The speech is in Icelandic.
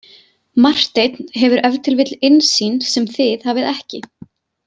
Marteinn hefur ef til vill innsýn sem þið hafið ekki.